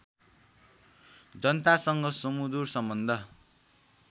जनतासँग सुमधुर सम्बन्ध